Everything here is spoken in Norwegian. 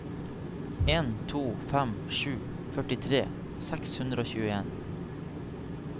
en to fem sju førtifire seks hundre og tjueen